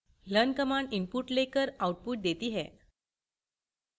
learn command input लेकर output देती है